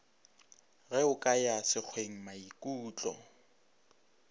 ge o ka ya sekwengmaikutlo